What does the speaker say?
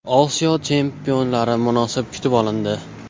Osiyo chempionlari munosib kutib olindi .